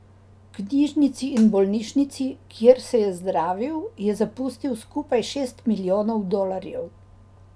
Knjižnici in bolnišnici, kjer se je zdravil, je zapustil skupaj šest milijonov dolarjev.